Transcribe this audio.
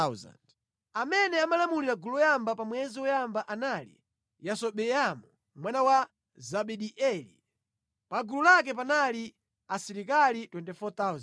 Amene amalamulira gulu loyamba pa mwezi woyamba anali Yasobeamu mwana wa Zabidieli. Pa gulu lake panali asilikali 24,000.